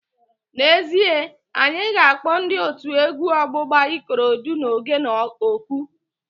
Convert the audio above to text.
N'ezie, anyị ga-akpọ ndị otu egwu ọgbụgba Ikorodu na Ogene oku